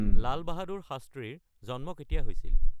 লাল বাহাদুৰ শাস্ত্ৰীৰ জন্ম কেতিয়া হৈছিল